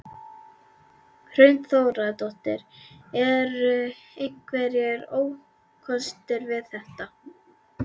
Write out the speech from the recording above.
Hrund Þórsdóttir: Eru einhverjir ókostir við þetta?